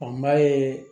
Ɔ m'a ye